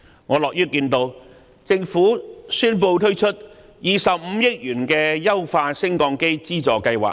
我樂於看到政府宣布推出25億元的優化升降機資助計劃。